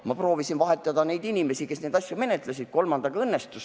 Ma proovisin vahetada inimesi, kes neid asju menetlesid, kolmandaga õnnestus.